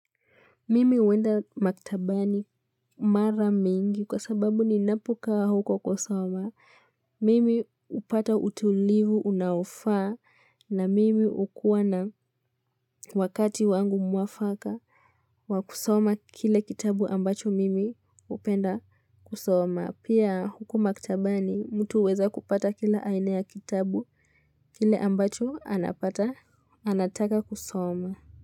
Mimi huenda maktabani mara mingi kwa sababu ninapokaa huko kusoma. Mimi hupata utulivu unaofaa na mimi hukua na wakati wangu mwafaka wa kusoma kile kitabu ambacho mimi hupenda kusoma. Pia huko maktabani mtu huweza kupata kila aina ya kitabu kile ambacho anataka kusoma.